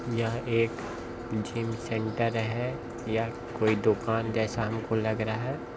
यह एक gym centre है यह कोई दुकान जैसा हमको लग रहा है।